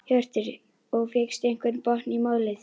Hjörtur: Og fékkstu einhvern botn í málið?